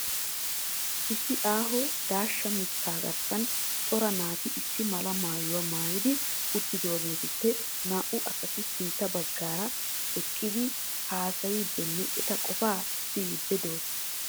issi aaho daashsha mitta garssan coraa naati issi mala maayyuwaa maayyidi uttidaagetuppe naa''u asati sintta baggaara eqqidi haassayddenne eta qofaa siyyidi de'oosona.